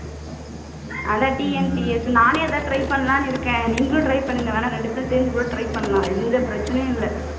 அதான் TNTS நானே அது தான் try பண்ணலாம்னு இருக்கேன் நீங்களும் try பண்ணுங்க வேணா ரெண்டு பேரும் சேர்ந்து கூட try பண்ணலாம் எந்த பிரச்சினையும் இல்லை